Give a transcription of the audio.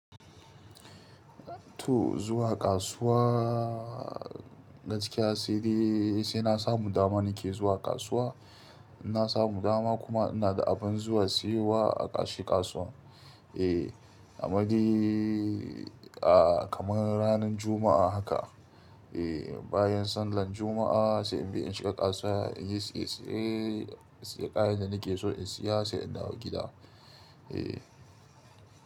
To zuwa kasuwa gaskiya sai dai sai na samu dama ni ke zuwa kasuwa. Na samu dama kuma ina da abun zuwa siyowa a kashi kasuwa. Eh, amma dai ah kamar ranan Juma'a haka. Eh, bayan sallar Juma'a sai in bi in shiga kasuwa in yi siye-siye. Sai ƙayen da ni ke so in siya sai in dawo gida. Eh.